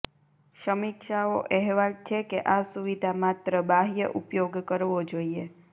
સમીક્ષાઓ અહેવાલ છે કે આ સુવિધા માત્ર બાહ્ય ઉપયોગ કરવો જોઇએ